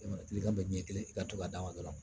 E ma kiliyan bɛ ɲɛ kelen i ka to ka d'a ma dɔrɔn